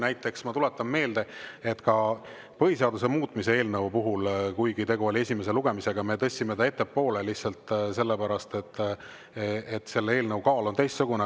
Näiteks, tuletan meelde, ka põhiseaduse muutmise eelnõu me tõstsime ettepoole, kuigi tegu oli esimese lugemisega, lihtsalt sellepärast, et selle eelnõu kaal on teistsugune.